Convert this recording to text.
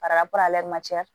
Fara